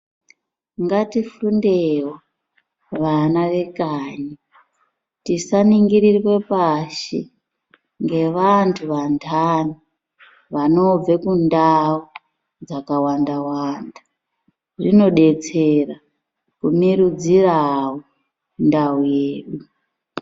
Ngatifundewo vana vekanyi tisaningirirwe pashi, ngevantu vandani, vanobve kundau dzakawanda-wanda, inodetsera kumirudzirawo ndau yedu.